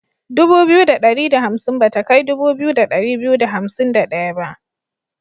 dubu biyu da ɗari da hansim bata kai dubu biyu da ɗari biyu da hansim da ɗaya ba.